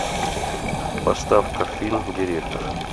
поставь ка фильм директор